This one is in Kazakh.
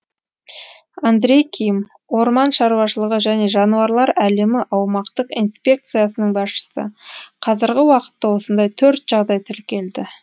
андрей ким орман шаруашылығы және жануарлар әлемі аумақтық инспекциясының басшысы қазіргі уақытта осындай төрт жағдай тіркелді